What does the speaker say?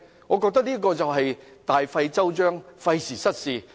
"我覺得這是大費周章，費時失事。